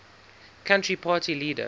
country party leader